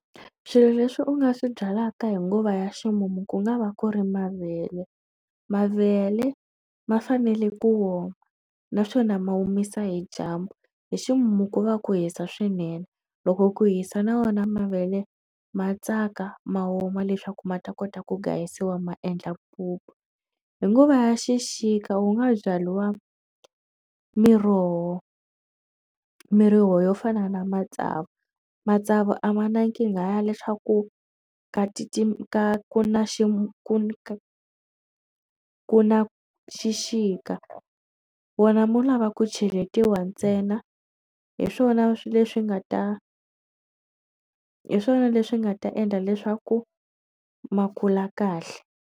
Swilo leswi u nga swi byalaka hi nguva ya ximumu ku nga va ku ri mavele, mavele ma fanele ku oma naswona ma omisa hi dyambu hi ximumu ko va ku hisa swinene loko ku hisa na wona mavele ma tsaka ma woma leswaku ma ta kota ku hlayisiwa ma endla mpupu hi nguva ya xixika wu nga byariwa miroho miroho yo fana na matsavu matsavu a ma nkingha ya leswaku ka titi ka na xi ku ku na xixika wena mo lava ku cheletiwa ntsena hi swona swilo leswi nga ta hi swona leswi nga ta endla leswaku ma kula kahle.